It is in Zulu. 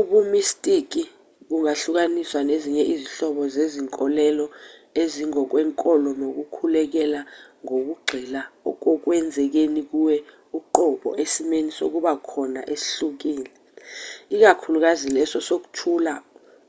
ubumistiki bungahlukaniswa nezinye izinhlobo zezinkolelo ezingokwenkolo nokukhulekela ngokugxila kokwenzekeni kuwe uqobo esimweni sokuba khona esihlukile ikakhulukazi leso sokuthula